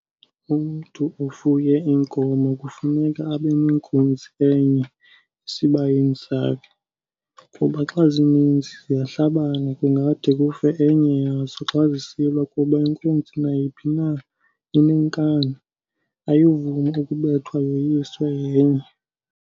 Umntu ofuye inkomo kufuneka abe nenkunzi enye esibayeni sakhe, kuba xa zininzi ziyahlabana kungade kufe enya yazo xa zisilwa kuba inkunzi nayiphi na inenkani, ayivumi ukubethwa yoyiswe yenye.